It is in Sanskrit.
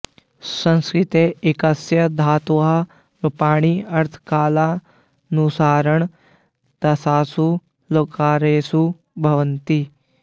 संस्कृते एकस्य धातोः रूपाणि अर्थकालानुसारेण दशसु लकारेषु भवन्ति